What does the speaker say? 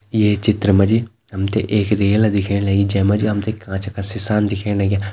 ये चित्र मा जी हम ते एक रेल दिखेण लगीं जै मा जी हम ते कांच का सिसान दिखेण लग्यां।